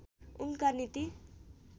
उनका नीति